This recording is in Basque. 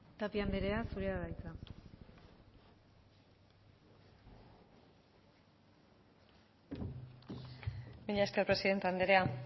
tapia andrea zurea da hitza mila esker presidente andrea